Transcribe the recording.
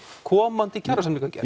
komandi kjarasamningagerð